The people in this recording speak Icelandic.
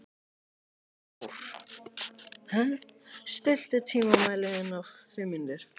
Kjárr, stilltu tímamælinn á fimm mínútur.